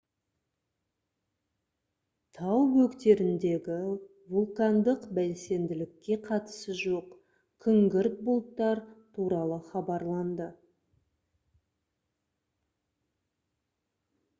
тау бөктеріндегі вулкандық белсенділікке қатысы жоқ күңгірт бұлттар туралы хабарланды